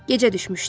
Gecə düşmüşdü.